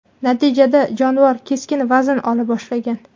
Natijada jonivor keskin vazn ola boshlagan.